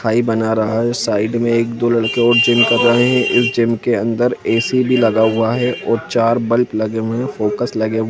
Thai बना रहे हैं साइड में एक दो लड़के और जिम कर रहे हैं जिम के अंदर ऐ.सी भी लगा हुआ है और चार बल्ब लगे हुए हैं फॉक्स लगे हुए--